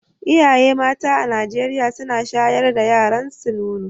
Iyaye mata a Najeriya suna shayar da yaranso nono.